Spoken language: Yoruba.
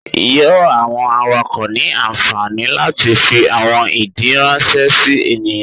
Yoo awọn awakọ ni anfani lati fi awọn idii ranṣẹ si eniyan